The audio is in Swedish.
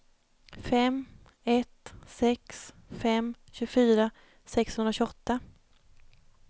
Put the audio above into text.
fem ett sex fem tjugofyra sexhundratjugoåtta